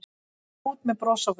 Gekk út með bros á vör.